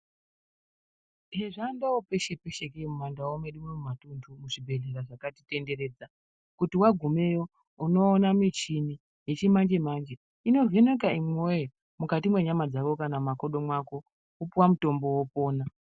Hezvange peshe pashe iwo mandau medu muzvi bhehleya zvakati tenderedza kuti wagumayo unopiwa muchini inovheneka imi woyo mukati menyama dzako wopiwa mutombo wopona